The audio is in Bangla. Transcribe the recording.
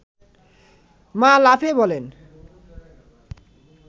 মা লাফিয়ে বলেন